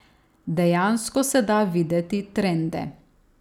Dejansko se da videti trende.